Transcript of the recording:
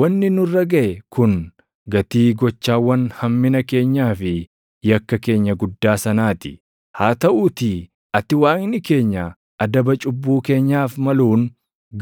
“Wanni nurra gaʼe kun gatii gochawwan hammina keenyaa fi yakka keenya guddaa sanaa ti; haa taʼuutii ati Waaqni keenya adaba cubbuu keenyaaf maluun